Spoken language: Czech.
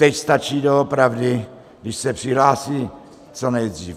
Teď stačí doopravdy, když se přihlásí co nejdřív.